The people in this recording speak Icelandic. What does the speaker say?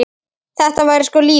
Þetta væri sko lífið.